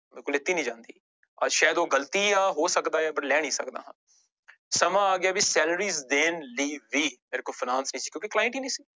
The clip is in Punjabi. ਲਿੱਤੀ ਨੀ ਜਾਂਦੀ, ਸ਼ਾਇਦ ਉਹ ਗ਼ਲਤੀਆ ਹੋ ਸਕਦਾ ਹੈ but ਲੈ ਨੀ ਸਕਦਾ ਨਾ ਸਮਾਂ ਆ ਗਿਆ ਵੀ salaries ਦੇਣ ਲਈ ਵੀ ਮੇਰੇ ਕੋਲ finance ਨੀ ਸੀ ਕਿਉਂਕਿ client ਹੀ ਨੀ ਸੀ।